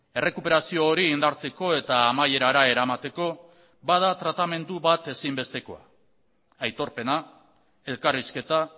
errekuperazio hori indartzeko eta amaierara eramateko bada tratamendu bat ezinbestekoa aitorpena elkarrizketa